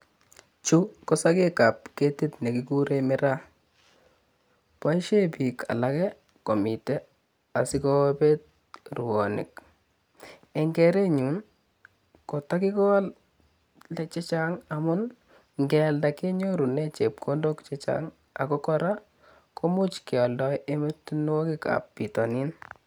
Chu ko sokekab ketit nekikure miraa, boisie biik alak komite asikopit ruonik. Eng kerenyun kotakikol ketik chechang amun kealda kenyorune chepkondondok chechang ako kora komuch kealdoi emotinwokikab bitonin.